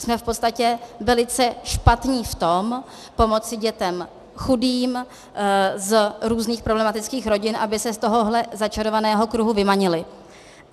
Jsme v podstatě velice špatní v tom pomoci dětem chudým, z různých problematických rodin, aby se z tohohle začarovaného kruhu vymanily.